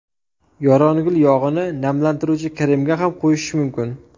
Yorongul yog‘ini namlantiruvchi kremga ham qo‘shish mumkin.